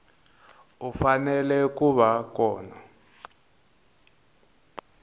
u fanele ku va kona